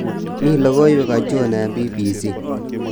mi logoiwek achon eng b.b.c